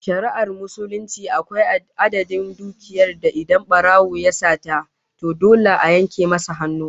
A shari'ar Musulunci, akwai adadin dukiya da idan barawo ya sata, to dole a yanke masa hannu